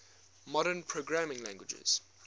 modern programming languages